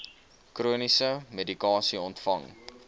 chroniese medikasie ontvang